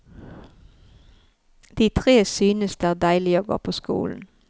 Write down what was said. De tre synes det er deilig å gå på skolen.